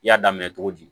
I y'a daminɛ cogo di